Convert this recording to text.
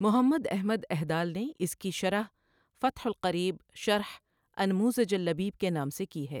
محمد احمد اھدال نے اِس کی شرح فتح القریب شرح انموذج اللبیب کے نام سے کی ہے۔